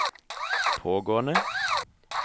pågående